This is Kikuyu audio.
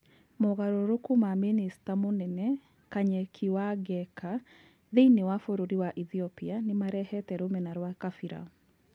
Mogarũrũku ma mĩnĩcita mũnene Kanyeki Wangeka thĩiniĩ wa bũrũri wa ĩthĩopia nĩmarehete rũmena rwa kabira.